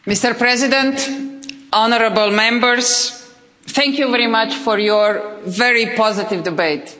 Mr President, honourable Members, thank you very much for your very positive debate.